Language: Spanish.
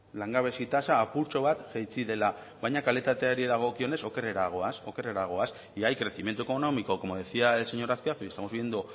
langabezi tasa apurtxo bat jaitsi dela baina kalitateari dagokionez okerrera goaz y hay crecimiento económico como decía el señor azpiazu y estamos viviendo